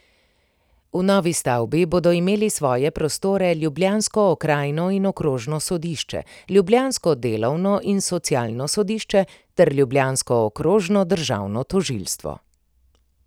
V novi stavbi bodo imeli svoje prostore ljubljansko okrajno in okrožno sodišče, ljubljansko delovno in socialno sodišče ter ljubljansko okrožno državno tožilstvo.